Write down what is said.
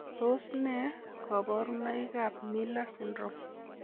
Tos nee koborunoikab Miller syndrome?